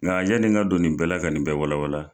Nga yanni n ka don nin bɛɛ la ka nin bɛɛ wala wala.